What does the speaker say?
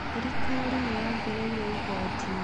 Thirikari nĩ yongereire igooti.